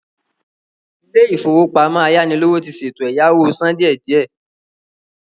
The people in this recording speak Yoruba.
Ilé-ìfowópamọ ayánilówó ti ṣètò ẹ̀yáwó sán díe díẹ.